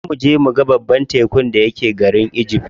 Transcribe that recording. Za muje muga babban jan tekun da yake garin egypt.